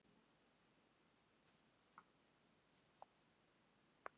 Viljið þið meina að það væri hægt að gera þetta betur?